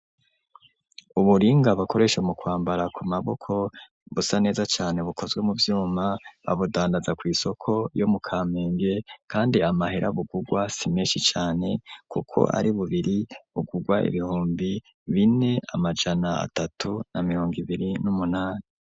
Uburinga bakoresha mu kwambara ku maboko, busa neza cane bukozwe mu vyuma, babudandaza kw'isoko yo mu Kamenge; kandi amahera bugurwa si meshi cane, kuko ari bubiri bugurwa ibihumbi bine amajana atatu na mirongo ibiri n'umunani.